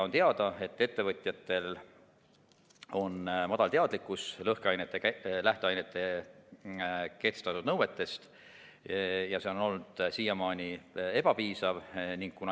On teada, et ettevõtjate teadlikkus lõhkeainete lähteainetele kehtestatud nõuetest on madal ja see on olnud siiamaani ebapiisav.